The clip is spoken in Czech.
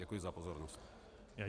Děkuji za pozornost.